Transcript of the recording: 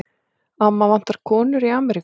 Amma, vantar konur í Ameríku?